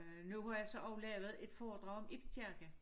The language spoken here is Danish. Øh nu har jeg så også lavet et foredrag om Ibs kirke